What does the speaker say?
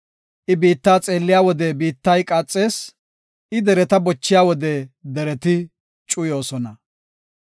I biitta xeelliya wode biittay qaaxees; I dereta bochiya wode dereti cuyoosona.